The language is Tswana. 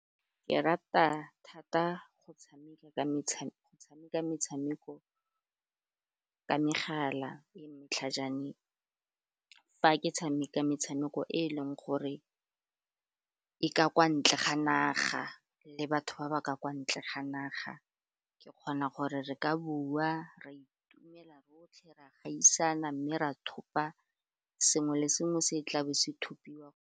Ke rata thata go tshameka metshameko ka megala e matlhajane fa ke tshameka metshameko e e leng gore e ka kwa ntle ga naga le batho ba ba ka kwa ntle ga naga, ke kgona gore re ka bua, ra itumela rotlhe re a gaisana mme ra thopa sengwe le sengwe se tla be se thopiwa.